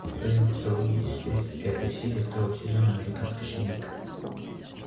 в твоем каталоге есть тридцать пятая серия второго сезона американская семейка